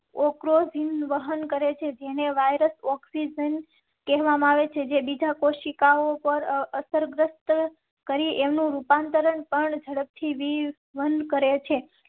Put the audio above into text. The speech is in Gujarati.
ઔર રોઝિન વહન કરેં છે જેને વાયરસ ઓક્સીઝન કહેવા માં આવે છે જે બીજા કોશિકાઓ પર અસરગ્રસ્ત કરેં. એમ નું રૂપાંતરણ પણ ઝડપથી બંધ કરેં છે.